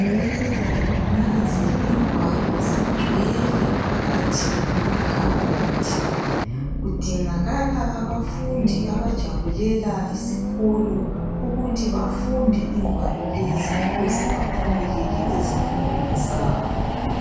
Nanzi ingwalo zigcwele phakathi kwamakhabothi kudingakala abafundi abajabulela isikolo ukuthi bafunde ingwalo lezi ukuze baphumelele ezifundweni zabo.